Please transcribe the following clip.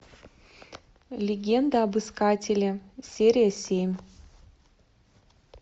легенда об искателе серия семь